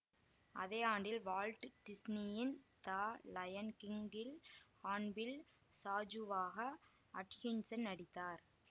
அதே ஆண்டில் வால்ட் டிஸ்னியின் த லயன் கிங்கில் ஹான்பில் சாஜூவாக அட்கின்சன் நடித்தார்